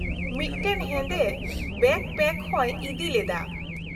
-ᱢᱤᱫᱴᱟᱝ ᱦᱮᱸᱫᱮ ᱵᱮᱹᱠᱯᱮᱹᱠᱚᱣ ᱦᱚᱭ ᱤᱫᱤ ᱞᱮᱫᱟ ᱾